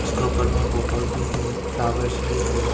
इसका ऊपर में बॉटल भी है फ्लावर्स भी है।